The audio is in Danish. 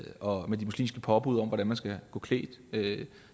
og med de muslimske påbud om hvordan man skal gå klædt